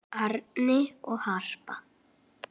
Árni og Harpa.